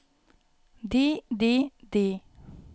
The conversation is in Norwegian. de de de